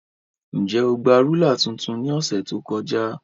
Njẹ o gba rulạ tuntun ni ọsẹ to kọja?